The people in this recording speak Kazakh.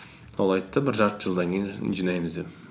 ол айтты бір жарты жылдан кейін жинаймыз деп